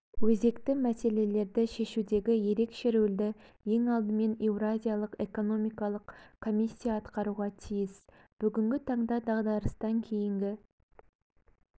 өзекті мәселелерді шешудегі ерекше рөлді ең алдымен еуразиялық экономикалық комиссия атқаруға тиіс бүгінгі таңда дағдарыстан кейінгі